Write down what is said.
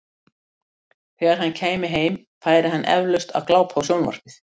Þegar hann kæmi heim, færi hann eflaust að glápa á sjónvarp.